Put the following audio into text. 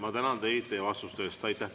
Ma tänan teid teie vastuste eest!